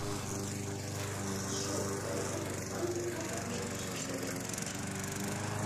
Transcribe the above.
джой к рокетбанку как относишься